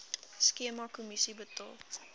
skema kommissie betaal